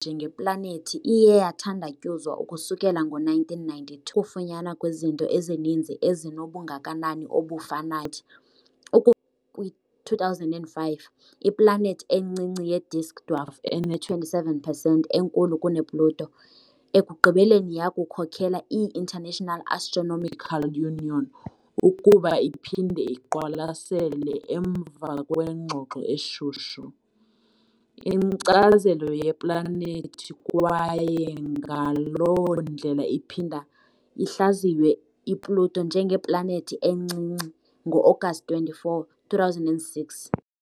Njengeplanethi iye yathandatyuzwa ukusukela ngo-1992 ukufunyanwa kwezinto ezininzi ezinobungakanani obufanayo, kwi-2005, iplanethi encinci ye-disk dwarf ene-27 percent enkulu kune-Pluto, ekugqibeleni yakhokelela i- International Astronomical Union ukuba iphinde iqwalasele - emva kwengxoxo eshushu - inkcazelo yeplanethi kwaye ngaloo ndlela iphinda ihlaziywe iPluto njengeplanethi encinci ngo-Agasti 24., 2006.